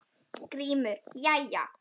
GRÍMUR: Jæja!